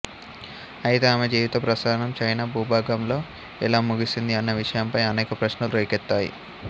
అయితే ఆమె జీవిత ప్రస్థానం చైనా భూభాగంలో ఎలా ముగిసింది అన్న విషయంపై అనేక ప్రశ్నలు రేకెత్తాయి